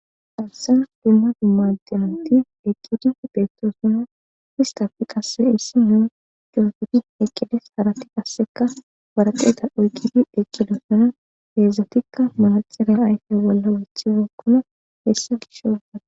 Haysan dumma dumma xinate asati eqidi betosona istape issinozi shiqidi eqides harati qase waraqate oykidi eqidosona hesatika manaxire wothibeykona